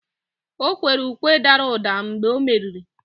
o kwere ukwe dara ụda mgbe o meriri